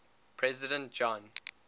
president john